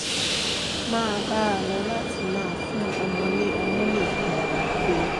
máa bá a lọ láti máa fún ọmọ ní ọmú nìkan àti